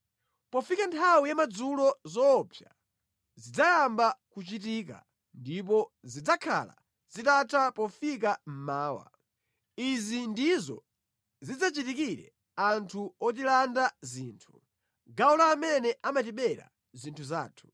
Pofika nthawi yamadzulo zoopsa zidzayamba kuchitika, ndipo zidzakhala zitatha pofika mmawa. Izi ndizo zidzachitikire anthu otilanda zinthu, gawo la amene amatibera zinthu zathu.